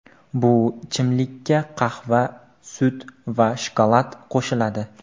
Bu ichimlikka qahva, sut va shokolad qo‘shiladi.